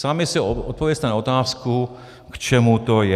Sami si odpovězte na otázku, k čemu to je.